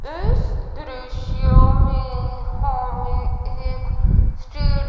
इस दृश्य में हमें एक स्टे--